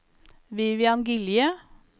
Vivian Gilje